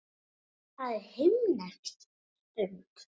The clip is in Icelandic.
Það er himnesk stund.